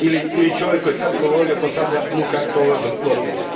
Ili čovjek koji je sad govorio postavlja ovoj gospođi.